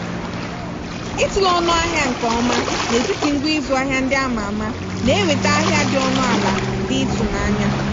ịtụle ọnụ ahịa nke ọma n'etiti ngwa ịzụ ahịa ndị a ma ama na-eweta ahịa dị ọnụ ala dị ịtụnanya.